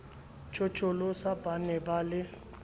tjhotjholosa ba ne ba le